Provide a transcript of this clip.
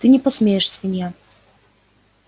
ты не посмеешь свинья